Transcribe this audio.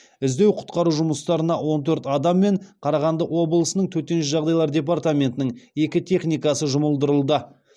іздеу құтқару жұмыстарына он төрт адам мен қарағанды облыстық төтенше жағдайлар департаментінің екі техникасы жұмылдырылды